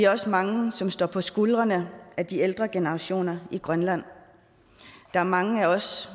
også mange som står på skuldrene af de ældre generationer i grønland der er mange af os